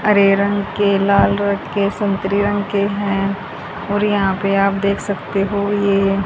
हरे रंग के लाल रंग के संतरे रंग के हैं और यहां पे आप देख सकते हो ये--